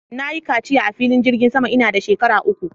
Na yi kaciya a filin jirgin sama ina da shekara uku